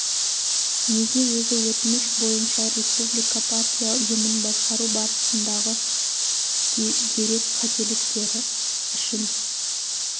неге өзі өтініш бойынша республика партия ұйымын басқару барысындағы дөрек қателіктер үшін